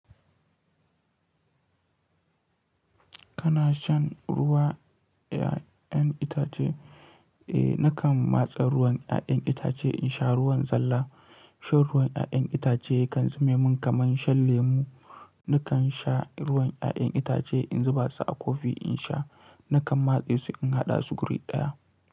Kana shan ruwan ƴaƴan itace? Eh, nakan matse ruwan ƴaƴan itace in sha ruwan zalla. Shan ruwan ƴaƴan itace kan zame min kaman shan lemu. Nakan sha ruwan ƴaƴan itace in zuba su a kofi in sha, nakan matse su in haɗa su guri ɗaya.